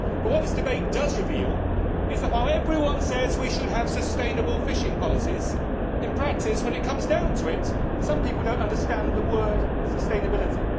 But what this debate does reveal is that, while everyone says we should have sustainable fishing policies, in practice, when it comes down to it, some people do not understand the word sustainability'.